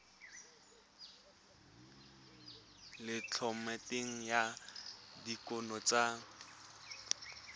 le thomeloteng ya dikuno tsa